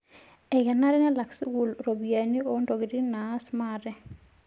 Ekenare nelak sukuul ropiyiani oo ntokitin naas maate.